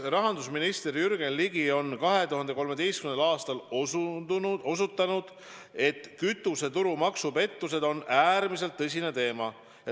Rahandusminister Jürgen Ligi on 2013. aastal osutanud, et kütuseturu maksupettused on äärmiselt tõsine teema.